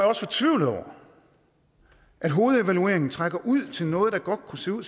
også fortvivlet over at hovedevalueringen trækker ud til noget der godt kunne se ud